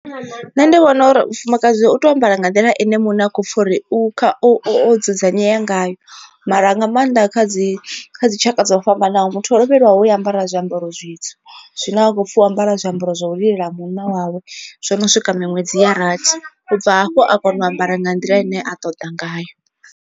Nṋe ndi vhona uri mufumakadzi u tea u ambara nga nḓila ine muṋe a kho pfha uri o dzudzanyea ngayo mara nga maanḓa kha dzi kha dzi tshaka dzo fhambanaho muthu o lovhelwaho u ambara zwiambaro zwitswu. Zwine a khou pfhi wa ambarela zwiambaro zwa u lilela munna wawe zwo no swika miṅwedzi ya rathi, u bva hafho a kone u ambara nga nḓila ine a ṱoḓa ngayo.